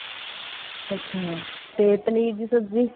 ਅੱਛਾ ਤੇ ਪਨੀਰ ਦੀ ਸਬਜੀ